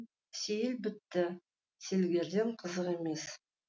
сейіл бітті сергелдең қызық емес